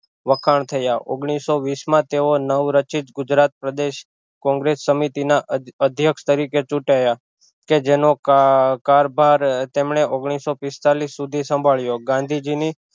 વખાણ થયા ઓગનીશો વિશ માં તેઓ નવરચીત ગુજરાત પ્રદેશ કોંગ્રસ સમિતિ ના અધ્ય અધ્યક્ષ તરીકે ચુટાયાં કે જેનો કાર કારભાર તેમણે ઓગનીશો પિસ્તાલિશ સુધી સાંભળ્યો ગાંધીજી ની